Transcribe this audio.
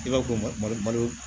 I ka ko malo